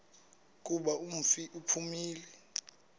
kuba umfi uphumile